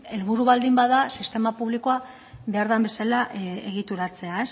helburu baldin bada sistema publikoa behar den bezala egituratzea